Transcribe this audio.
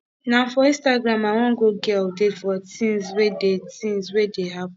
na for instagram i wan go get update for tins wey dey tins wey dey happen